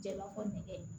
Jɛnɛba ko nɛgɛ